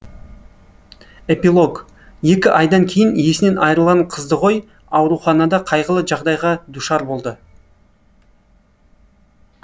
эпилог екі айдан кейін есінен айырылған қыздығой ауруханада қайғылы жағдайға душар болды